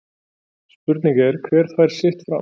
Spurning er hver fær sitt fram